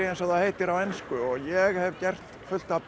eins og það heitir á ensku og ég hef gert fullt af